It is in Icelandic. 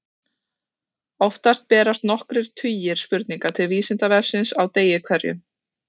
Oftast berast nokkrir tugir spurninga til Vísindavefsins á degi hverjum.